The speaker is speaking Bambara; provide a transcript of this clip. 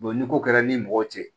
ni ko kɛra ni mɔgɔ cɛ